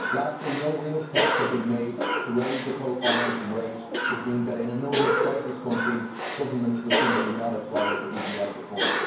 Lastly, no real steps have been made to raise the co financing rate, which means that in a number of crisis countries governments would simply not apply for EGF support.